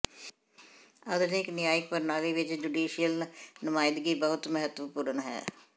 ਆਧੁਨਿਕ ਨਿਆਇਕ ਪ੍ਰਣਾਲੀ ਵਿੱਚ ਜੂਡੀਸ਼ੀਅਲ ਨੁਮਾਇੰਦਗੀ ਬਹੁਤ ਮਹੱਤਵਪੂਰਨ ਹੈ